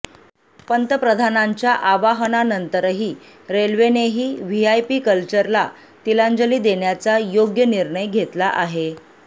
पंतप्रधानांच्या आवाहनानंतर रेल्वेनेही व्हीआयपी कल्चरला तिलांजली देण्याचा योग्य निर्णय घेतला आहे